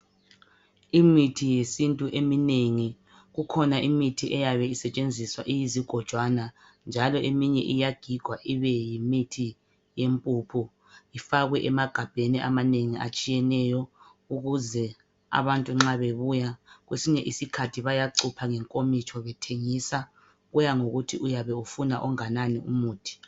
Imithi yesintu eminengi, kukhona imithi eyabe isetshenziswa iyizigojwana, njalo eminye iyagigwa ibeyimithi yempuphu ifakwe emagabheni amanengi atshiyeneyo ukuze abantu nxa bebuya, kwesinye isikhathi iyacutshwa. Kuyangokuthi uyabe ufuna onganani umuthi.